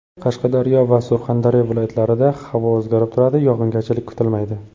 Qashqadaryo va Surxondaryo viloyatlarida havo o‘zgarib turadi, yog‘ingarchilik kutilmaydi.